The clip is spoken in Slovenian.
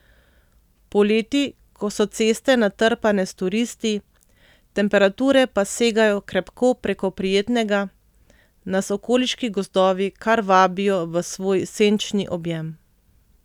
Poleti, ko so ceste natrpane s turisti, temperature pa segajo krepko preko prijetnega, nas okoliški gozdovi kar vabijo v svoj senčni objem.